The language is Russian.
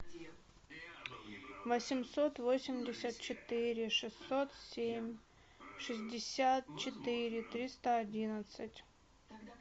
восемьсот восемьдесят четыре шестьсот семь шестьдесят четыре триста одиннадцать